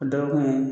O dɔ kun ye